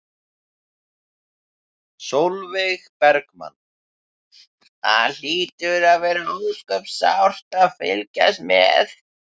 Sólveig Bergmann: Það hlýtur að vera ósköp sárt að fylgjast með?